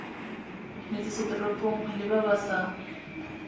metsesetoropong le ba ba sa